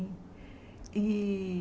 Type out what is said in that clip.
E